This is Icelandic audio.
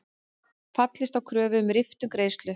Fallist á kröfu um riftun greiðslu